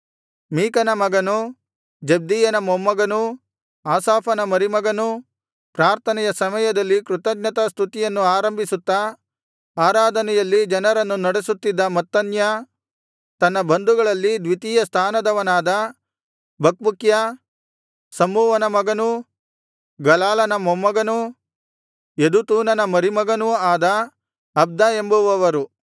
ಮೀಕನ ಮಗನೂ ಜಬ್ದೀಯನ ಮೊಮ್ಮಗನೂ ಆಸಾಫನ ಮರಿಮಗನೂ ಪ್ರಾರ್ಥನೆಯ ಸಮಯದಲ್ಲಿ ಕೃತಜ್ಞತಾಸ್ತುತಿಯನ್ನು ಆರಂಭಿಸುತ್ತಾ ಆರಾಧನೆಯಲ್ಲಿ ಜನರನ್ನು ನಡೆಸುತ್ತಿದ್ದ ಮತ್ತನ್ಯ ತನ್ನ ಬಂಧುಗಳಲ್ಲಿ ದ್ವಿತೀಯ ಸ್ಥಾನದವನಾದ ಬಕ್ಬುಕ್ಯ ಶಮ್ಮೂವನ ಮಗನೂ ಗಾಲಾಲನ ಮೊಮ್ಮಗನೂ ಯೆದೂತೂನನ ಮರಿಮಗನೂ ಆದ ಅಬ್ದ ಎಂಬುವವರು